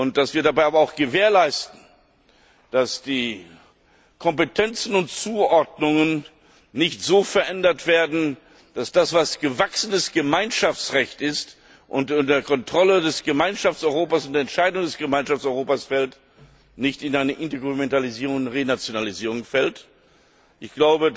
Dass wir dabei aber auch gewährleisten, dass die Kompetenzen und Zuordnungen nicht so verändert werden, dass das, was gewachsenes Gemeinschaftsrecht ist und unter die Kontrolle des Gemeinschaftseuropas und Entscheidung des Gemeinschaftseuropas fällt, nicht in eine Intergouvernementalisierung und Renationalisierung mündet,